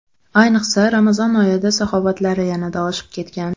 Ayniqsa, Ramazon oyida saxovatlari yanada oshib ketgan.